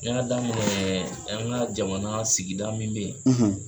N y'a daminɛ an ka jamana sigida min bɛ ye.